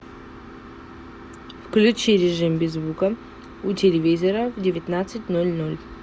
включи режим без звука у телевизора в девятнадцать ноль ноль